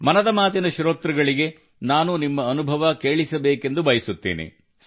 ಮನದ ಮಾತಿನ ಶ್ರೋತೃಗಳಿಗೆ ನಾನು ನಿಮ್ಮ ಅನುಭವ ಕೇಳಿಸಬೇಕೆಂದು ಬಯಸುತ್ತೇನೆ